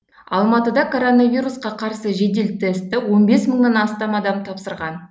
алматыда коронавирусқа қарсы жедел тестті он бес мыңнан астам адам тапсырған